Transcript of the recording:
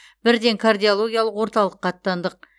бірден кардиологиялық орталыққа аттандық